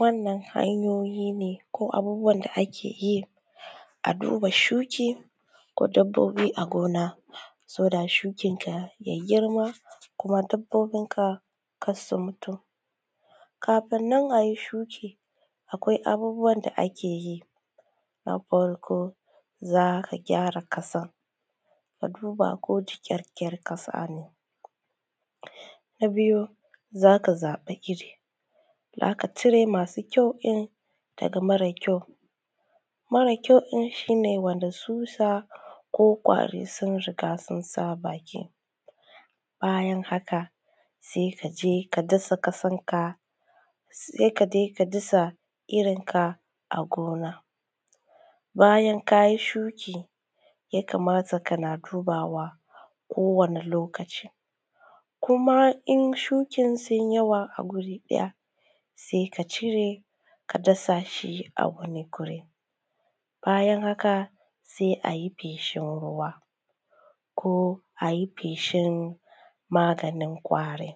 Wannan hanyoyi ne ko abubuwan da akeyi a duba shuki, ko dabbobi a gona soda shukin na ya girma ko dabbobin ka karsu mutu. Kafin nana ayi shuki kafin nan a yi shuki akwai abubuwan da akeyi. Na farko za’a gyara ƙasa a duba ko jiƙaƙƙiyar ƙasa ne. Na biyu zaka zaɓi irri zaka cire masu kyau ka cire marasu kyau in daga mare kyau. Mara kyau in shine wanda tsutsa ko kwari sun riga sunsa baki. Bayan haka sai kaje ka dasa ƙasan ka a gona, bayan kayi shuki sai ka matsa kana dubawa ko wani lokaci, kuma in shukin su yawa a guri ɗaya sai ka cire ka dasa shi a wani guri. Bayan haka sai ayi feshin ruwa ko ayi feshin maganin kwari,